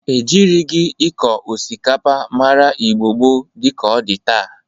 E jịrịgị ịkọ osikapa mara Igbo gboo dị ka ọ dị taa.